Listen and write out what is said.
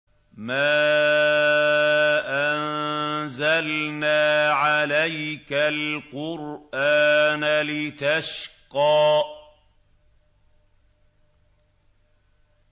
مَا أَنزَلْنَا عَلَيْكَ الْقُرْآنَ لِتَشْقَىٰ